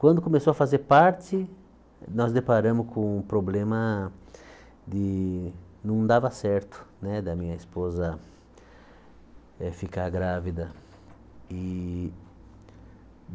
Quando começou a fazer parte, nós deparamos com um problema de... não dava certo né da minha esposa eh ficar grávida. E